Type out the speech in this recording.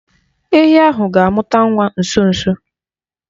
Ehi ahụ ga-amụta nwa nso nso.